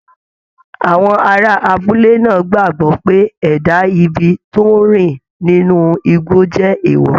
Àwọn ará abúlé náà gbàgbọ́ pé ẹ̀dá ibi tó ń rìn nínú igbó jẹ́ èèwọ̀